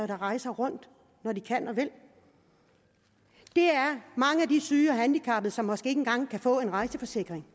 der rejser rundt når de kan og vil det er mange af de syge og handicappede som måske ikke engang kan få en rejseforsikring